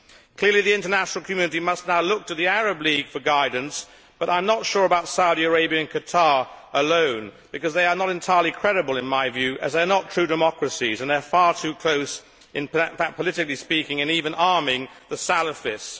Clearly, the international community must now look to the Arab League for guidance, but I am not sure about Saudi Arabia and Qatar alone, because they are not entirely credible in my view as they are not true democracies and they are far too close politically speaking, and even arming the salafists.